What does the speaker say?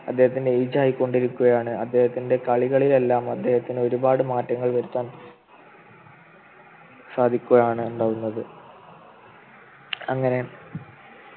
അദ്ദേഹത്തിൻ്റെ age ആയിക്കൊണ്ടിരിക്കുകയാണ് അദ്ദേഹത്തിൻ്റെ കളികളെയെല്ലാം അദ്ദേഹത്തിന് ഒരുപാട് മാറ്റങ്ങൾ വരുത്താം സാധിക്കുകയാണ് ഉണ്ടാവുന്നത് അങ്ങനെ